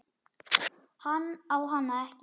Hann á hana ekki.